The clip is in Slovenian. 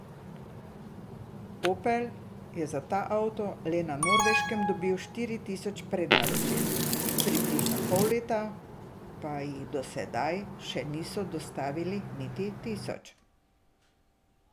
Opel je za ta avto le na Norveškem dobil štiri tisoč prednaročil, v približno pol leta pa jih do zdaj še niso dostavili niti tisoč.